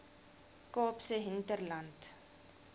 kaapse hinterland